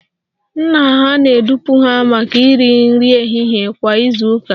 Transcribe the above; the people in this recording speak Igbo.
Nna ha na-edupụ ha maka nri ehihie kwa izu ụka